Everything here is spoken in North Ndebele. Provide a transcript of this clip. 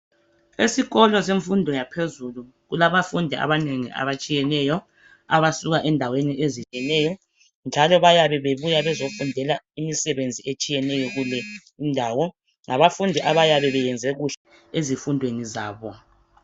Esikolo semfundo yaphezulu kulabafundi abanengi abatshiyeneyo abasuka endaweni ezehlukeneyo njalo bayabe bebuya bezofundela imsebenzi etshiyeneyo kulezi indawo ngabafundi abayabe beyenze kuhle ezifundweni zabo.